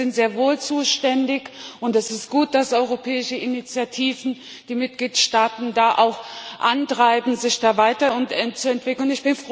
Also, wir sind sehr wohl zuständig, und es ist gut, dass europäische Initiativen die Mitgliedstaaten da auch antreiben, sich da weiterzuentwickeln.